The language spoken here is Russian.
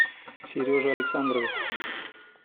сереже александрове